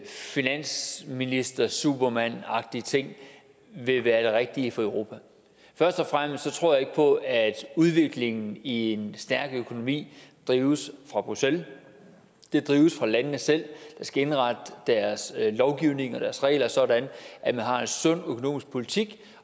finansministersupermandagtig ting vil være det rigtige for europa først og fremmest tror jeg ikke på at udviklingen i en stærk økonomi drives fra bruxelles den drives fra landene selv der skal indrette deres lovgivning og deres regler sådan at man har en sund økonomisk politik